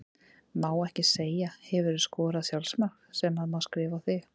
Má ekki segja Hefurðu skorað sjálfsmark sem að má skrifa á þig?